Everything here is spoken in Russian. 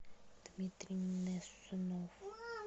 дмитрий несунов